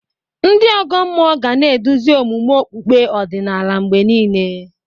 Ndị ọgọ mmụọ ga na-eduzi omume okpukpe ọdịnala mgbe niile.